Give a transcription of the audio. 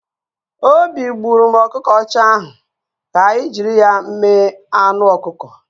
Obi gburụ m ọkụkọ ọcha ahụ, ka anyị jiri ya mee anụ ọkụkọ